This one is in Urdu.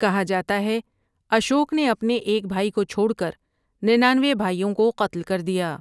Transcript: کہا جاتا ہے اشوک نے اپنے ایک بھائی کو چھوڑ کر ننانوے بھائیوں کو قتل کر دیا ۔